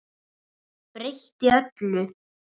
Breytti öllu.